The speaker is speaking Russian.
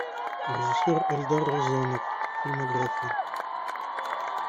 режиссер эльдар рязанов фильмография